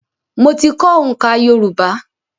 Mo ti kọ́ oǹká Yorùbá.